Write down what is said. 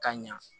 Ka ɲa